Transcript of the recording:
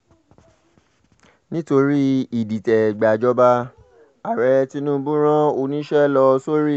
nítorí ìdìtẹ̀-gbàjọba ààrẹ tinubu rán oníṣẹ́ lọ sórílẹ̀